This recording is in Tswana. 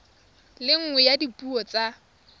le nngwe ya dipuo tsa